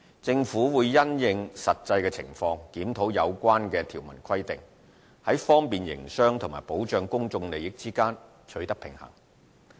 政府會因應實際情況，檢討有關條文規定，在方便營商和保障公眾利益間取得平衡。